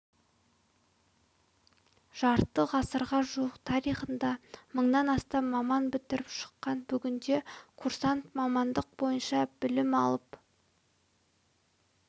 жарты ғасырға жуық тарихында мыңнан астам маман бітіріп шыққан бүгінде курсант мамандық бойынша білім алып